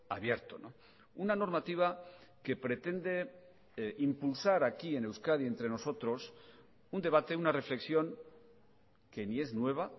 abierto una normativa que pretende impulsar aquí en euskadi entre nosotros un debate una reflexión que ni es nueva